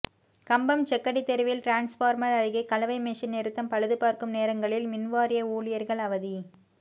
கம்பம் செக்கடி தெருவில் டிரான்ஸ்பார்மர் அருகே கலவை மெஷின் நிறுத்தம் பழுது பார்க்கும் நேரங்களில் மின்வாரிய ஊழியர்கள் அவதி